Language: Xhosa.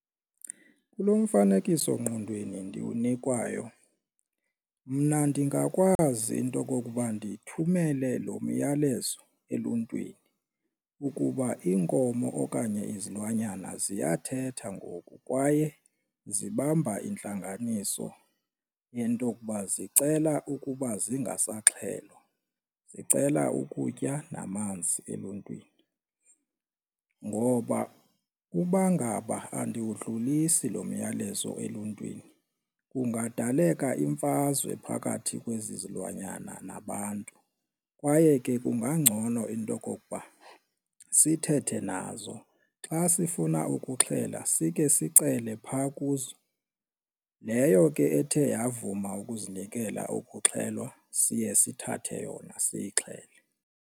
Kulo mfanekiso-ngqondweni ndiwukunikwayo mna ndingakwazi into okokuba ndithumele lo myalezo eluntwini, ukuba iinkomo okanye izilwanyana ziyathetha ngoku kwaye zibamba intlanganiso into okuba zicela ukuba zingasaxhelwa, zicela ukutya namanzi eluntwini. Ngoba uba ngaba andiwudlulisi lo myalezo eluntwini kungadaleka imfazwe phakathi kwezi zilwanyana nabantu kwaye ke kungangcono into okokuba sithethe nazo xa sifuna ukuxhela sikhe sicele phaa kuzo, leyo ke ethe yavuma ukuzinikela ukuxhelwa siye sithathe yona siyixhele.